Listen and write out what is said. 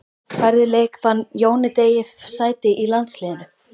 Færði leikbann Jóni Degi sæti í landsliðinu?